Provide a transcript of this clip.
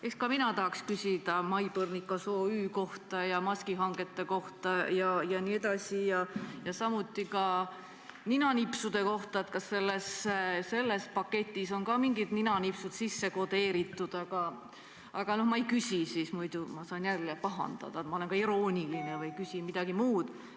Eks ka mina tahaks küsida Maipõrnikas OÜ ja maskihangete kohta, samuti ninanipsude kohta, et kas ka sellesse paketti on mingisugused ninanipsud sisse kodeeritud, aga ma ei küsi, sest muidu saan samuti pahandada, et olen irooniline või küsin midagi asjakohatut.